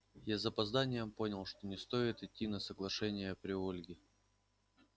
я с запозданием понял что не стоило идти на соглашение при ольге